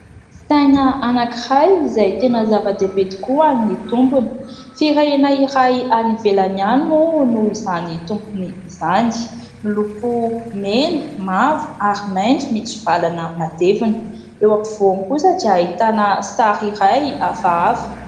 Saina anankiray izay tena zava-dehibe tokoa amin'ny tompony, firenena iray any ivelany any moa no izany tompony izany, miloko mena, mavo ary maitso mitsivalana matevina, eo ampovoany kosa dia ahitana sary iray hafahafa.